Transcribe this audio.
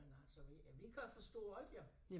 Men altså vi øh vi kan forstå alt jo